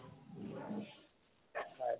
হয়